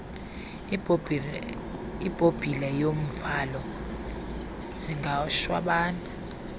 ibhobhile yomvalo zingashwabana